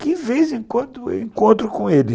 que de vez em quando eu encontro com ele.